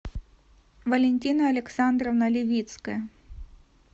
валентина александровна левицкая